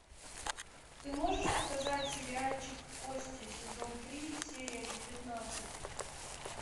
ты можешь показать сериальчик кости сезон три серия девятнадцать